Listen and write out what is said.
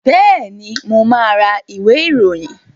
Bẹ́ẹ̀ni, mà á ra ìwé-ìròyìn.